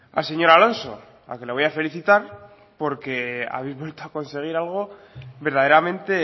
al señor alonso al que le voy a felicitar porque habéis vuelto a conseguir algo verdaderamente